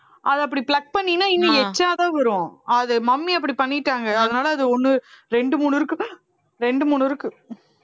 அதை அப்படி pluck பண்ணீங்கன்னா இன்னும் தான் வரும் அது mummy அப்படி பண்ணிட்டாங்க அதனால அது ஒண்ணு ரெண்டு மூணு இருக்கு ரெண்டு மூணு இருக்கு